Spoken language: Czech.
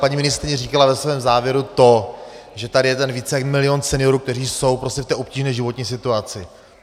Paní ministryně říkala ve svém závěru to, že tady je ten více jak milion seniorů, kteří jsou prostě v té obtížné životní situaci.